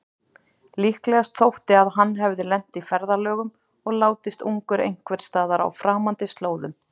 Líklegast þótti að hann hefði lent í ferðalögum og látist ungur einhversstaðar á framandi slóðum.